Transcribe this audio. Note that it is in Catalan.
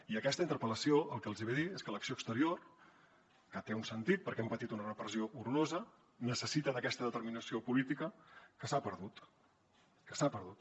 i aquesta interpel·lació el que els hi ve a dir és que l’acció exterior que té un sentit perquè hem patit una repressió horrorosa necessita aquesta determinació política que s’ha perdut que s’ha perdut